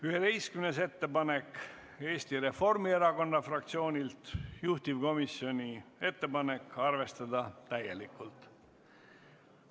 11. ettepanek on Eesti Reformierakonna fraktsioonilt, juhtivkomisjoni ettepanek on arvestada seda täielikult.